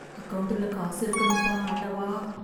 அக்கவுன்ட்டுல காசு இருக்கணும் பா ஆண்டவா!